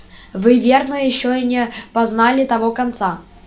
вы верно ещё не познали того конца